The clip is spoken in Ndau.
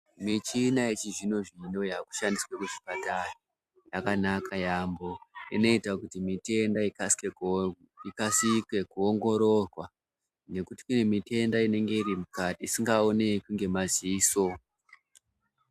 Michina yechizvino zvino yakushandiswa kuzvipatara yakanaka yambho inoita kuti mitenda ikasike kuongororwa ngekuti kune mitenda inenge iri mukati asingaoneki ngemaziso.